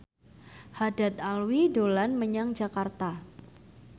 Haddad Alwi dolan menyang Jakarta